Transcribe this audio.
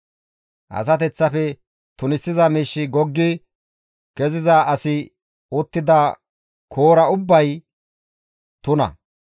«Asateththafe tunisiza miishshi goggi keziza asi uttida koora ubbay tuna;